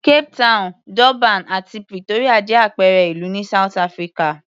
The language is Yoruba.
Cape Town, Durban àti Pretoria jẹ́ àpẹẹrẹ ìlú ní South Africa.